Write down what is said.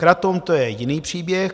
Kratom, to je jiný příběh.